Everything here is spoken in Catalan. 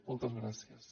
moltes gràcies